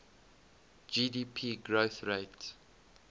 gdp growth rate